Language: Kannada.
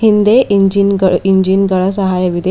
ಹಿಂದೆ ಇಂಜಿನ್ ಗ ಇಂಜಿನ್ ಗಳ ಸಹಾಯವಿದೆ.